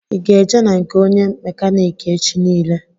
I ga eje na nke ónyé mekaniki echi niile?